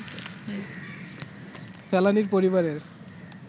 ফেলানীর পরিবারের